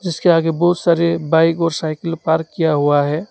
उसके आगे बहुत सारे बाइक और साइकल पार्क किया हुआ है।